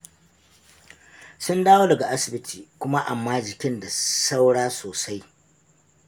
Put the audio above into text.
Sun dawo daga asibiti, kuma amma jikin da saura sosai.